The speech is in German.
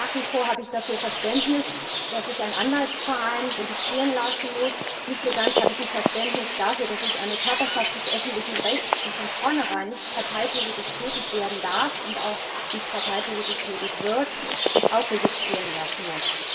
Nach wie vor habe ich dafür Verständnis, dass sich ein Anwaltsverein registrieren lassen muss, weniger Verständnis habe ich dafür, dass sich eine Körperschaft des öffentlichen Rechts, die von vornherein nicht parteipolitisch tätig werden darf und auch nicht parteipolitisch tätig wird, auch registrieren lassen muss.